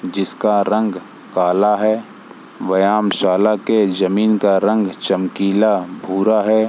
जिसका रंग काला है व्यामशाला के जमीन का रंग चमकीला भूरा है।